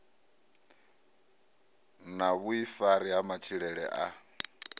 na vhuifari ha matshilele a